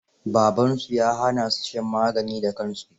Babansu ya hana su shan magani da kansu.